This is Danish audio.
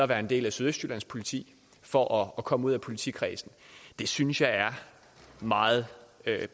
være en del af sydøstjyllands politi for at komme ud af politikredsen det synes jeg er meget